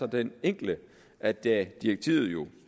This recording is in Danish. den enkle at da direktivet